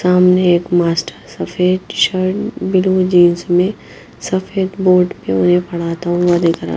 सामने एक मास्टर सफेद शर्ट ब्लू जींस में सफेद बोर्ड पर उन्हें पढ़ता हुआ देख दिख रहा है।